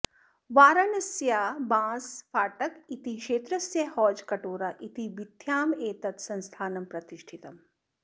वाराणस्याः बांसफाटक इति क्षेत्रस्य हौजकटोरा इति बीथ्याम् एतत् संस्थानं प्रतिष्ठितम्